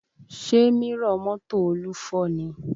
Ṣé mírọ̀ mọ́tò Olú fọ́ ni?